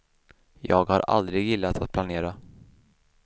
Jag har aldrig gillat att planera.